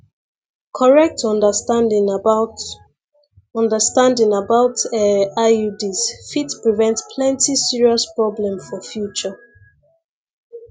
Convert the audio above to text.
correct understanding about understanding about ehh iuds fit prevent plenty serious problem for future